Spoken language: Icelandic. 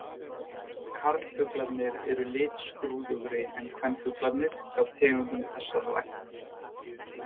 Karlfuglarnir eru litskrúðugri en kvenfuglarnir hjá tegundum þessarar ættar.